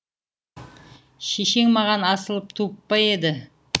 шешең маған асылып туып па еді